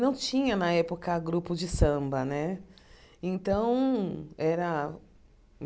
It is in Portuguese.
Não tinha, na época, grupo de samba né. Então era